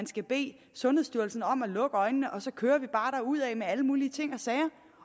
skal bede sundhedsstyrelsen om at lukke øjnene og så kører vi bare derudad med alle mulige ting og sager